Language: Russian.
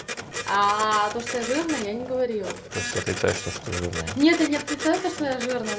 то что я жирная я не говорила то есть ты отрицаешь то что ты жирная нет я не отрицаю то что я жирная